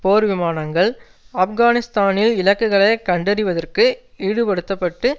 போர்விமானங்கள் ஆப்கானிஸ்தானில் இலக்குகளை கண்டறிவதற்கு ஈடுபடுத்த பட்டு